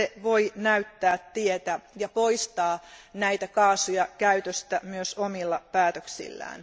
Se voi näyttää tietä ja poistaa näitä kaasuja käytöstä myös omilla päätöksillään.